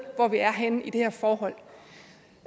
hvor vi er henne i det her forhold